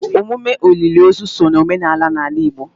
emume olili ozu so na omenala n'ala Igbo.